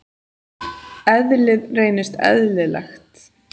Eðlið reynist eðlilegt.